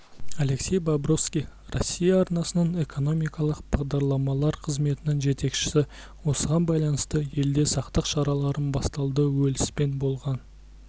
алексей бобровский россия арнасының экономикалық бағдарламалар қызметінің жетекшісі осыған байланысты елде сақтық шаралары басталды уэльспен болған